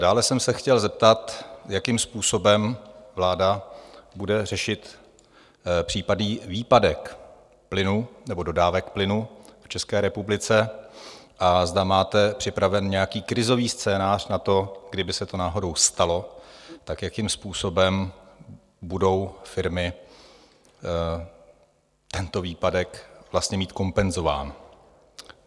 Dále jsem se chtěl zeptat, jakým způsobem vláda bude řešit případný výpadek plynu nebo dodávek plynu v České republice a zda máte připravený nějaký krizový scénář na to, kdyby se to náhodou stalo, tak jakým způsobem budou firmy tento výpadek vlastně mít kompenzován.